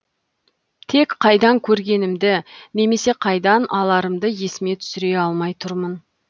тек қайдан көргенімді немесе қайдан аларымды есіме түсіре алмай тұрмын